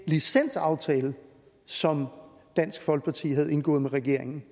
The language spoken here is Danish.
licensaftale som dansk folkeparti havde indgået med regeringen